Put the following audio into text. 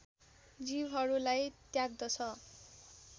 जीवहरूलाई त्याग्दछ